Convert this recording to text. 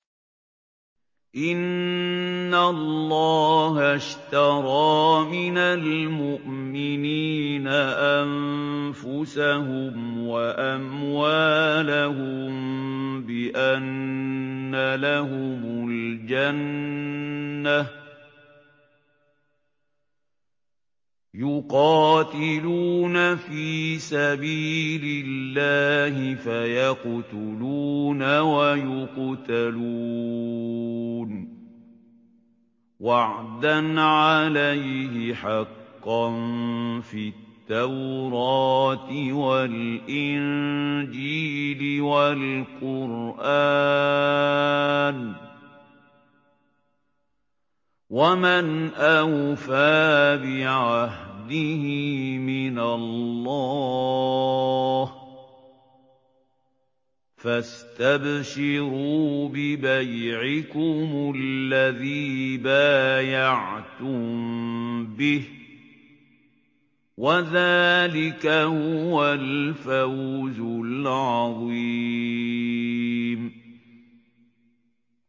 ۞ إِنَّ اللَّهَ اشْتَرَىٰ مِنَ الْمُؤْمِنِينَ أَنفُسَهُمْ وَأَمْوَالَهُم بِأَنَّ لَهُمُ الْجَنَّةَ ۚ يُقَاتِلُونَ فِي سَبِيلِ اللَّهِ فَيَقْتُلُونَ وَيُقْتَلُونَ ۖ وَعْدًا عَلَيْهِ حَقًّا فِي التَّوْرَاةِ وَالْإِنجِيلِ وَالْقُرْآنِ ۚ وَمَنْ أَوْفَىٰ بِعَهْدِهِ مِنَ اللَّهِ ۚ فَاسْتَبْشِرُوا بِبَيْعِكُمُ الَّذِي بَايَعْتُم بِهِ ۚ وَذَٰلِكَ هُوَ الْفَوْزُ الْعَظِيمُ